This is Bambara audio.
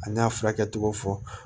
A n'a furakɛ cogo fɔ